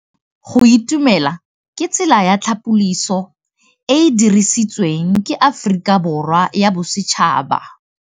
Go itumela ke tsela ya tlhapolisô e e dirisitsweng ke Aforika Borwa ya Bosetšhaba.